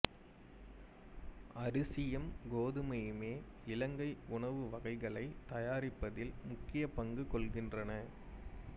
அரிசியும் கோதுமையுமே இலங்கை உணவு வகைகளைத் தயாரிப்பதில் முக்கியப்பங்கு கொள்கின்றன